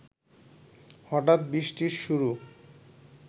হঠাৎ বৃষ্টির শুরু